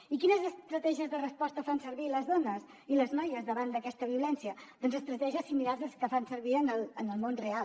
i quines estratègies de resposta fan servir les dones i les noies davant d’aquesta violència doncs estratègies similars a les que fan servir en el món real